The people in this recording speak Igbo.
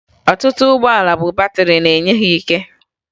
Ọtụtụ ụgbọala bụ batịrị na-enye ya ike